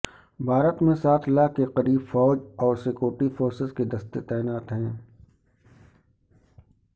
بھارت میں سات لاکھ کے قریب فوج اور سکیورٹی فورسز کے دستے تعینات ہیں